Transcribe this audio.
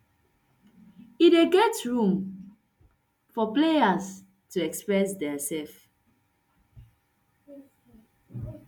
e dey give room for players to express diasef